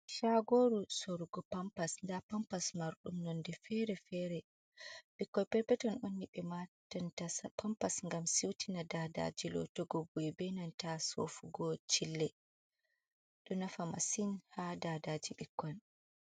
"Shagoru" sorgo pampas nda pampas marɗum nonde fere fere ɓikkoi peppeton on ɓe watanta pampas ngam siutina dadaji lotogo bu'e benanta sofugo chille do nafa masin ha dadaji ɓikkoi.